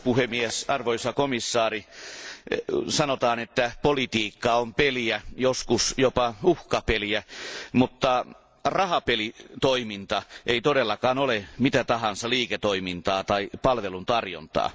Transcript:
Arvoisa puhemies, arvoisa komission jäsen, sanotaan, että politiikka on peliä, joskus jopa uhkapeliä, mutta rahapelitoiminta ei todellakaan ole mitä tahansa liiketoimintaa tai palveluntarjontaa.